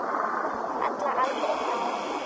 Falla aldrei frá.